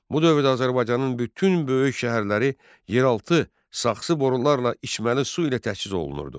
Bu dövrdə Azərbaycanın bütün böyük şəhərləri yeraltı saxsı borularla içməli su ilə təchiz olunurdu.